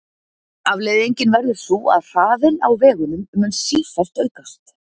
Afleiðingin verður sú að hraðinn á vegunum mun sífellt aukast.